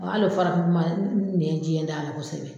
Hali o farafinkuma n nɛn jɛ t'a la kosɛbɛ.